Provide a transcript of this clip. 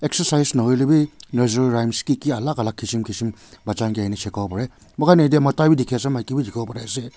exercise nahoilebi nursery rhymes kiki alak alak kisim kisim shikawole pareh moihan ite mota wi maki wii dikhiwole pariase.